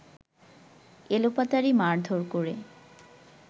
এলোপাতাড়ি মারধোর করে